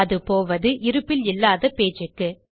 அது போவது இருப்பில் இல்லாத பேஜ் க்கு